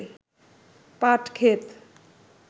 পাট ক্ষেত